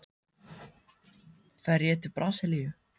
Fer ég til Brasilíu?